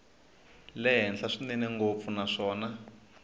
le henhla swinene ngopfu naswona